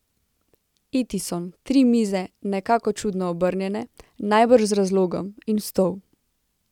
Itison, tri mize, nekako čudno obrnjene, najbrž z razlogom, in stol.